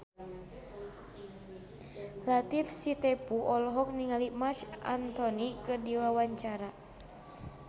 Latief Sitepu olohok ningali Marc Anthony keur diwawancara